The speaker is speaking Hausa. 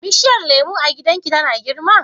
bishiyar lemu a gidan ki tana girma?